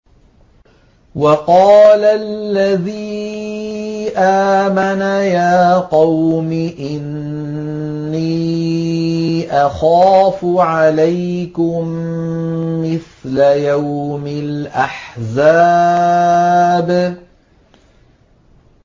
وَقَالَ الَّذِي آمَنَ يَا قَوْمِ إِنِّي أَخَافُ عَلَيْكُم مِّثْلَ يَوْمِ الْأَحْزَابِ